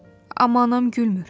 Amma anam gülmür.